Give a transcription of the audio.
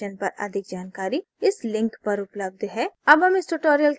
इस mission पर अधिक जानकारी इस link पर उपलब्ध है